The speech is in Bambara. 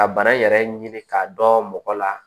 Ka bana yɛrɛ ɲini k'a dɔn mɔgɔ la